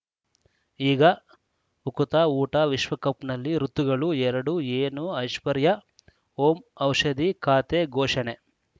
ಈಗ ಉಕುತ ಊಟ ವಿಶ್ವಕಪ್‌ನಲ್ಲಿ ಋತುಗಳು ಎರಡು ಏನು ಐಶ್ವರ್ಯಾ ಓಂ ಔಷಧಿ ಖಾತೆ ಘೋಷಣೆ